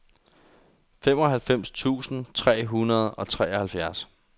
femoghalvfems tusind tre hundrede og treoghalvfjerds